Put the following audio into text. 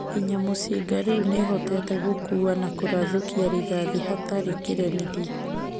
"Nginya mũcinga rĩu nĩhoteete gũkuua na kũrathũkia rithathi hatarĩ kĩremithia".